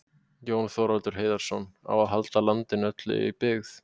Jón Þorvaldur Heiðarsson,: Á að halda landinu öllu í byggð?